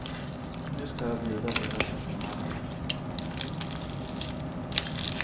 Nu ska jag bjuda hela personalen.